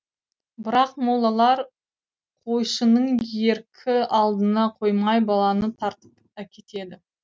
бірақ молалар қойшының еркі алдына қоймай баланы тартып әкетеді